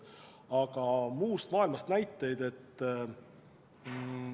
Aga kas on mujalt maailmast näiteid?